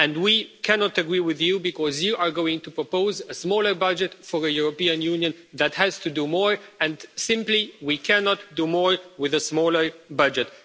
And we cannot agree with you because you are going to propose a smaller budget for a European Union that has to do more, and simply we cannot do more with a smaller budget.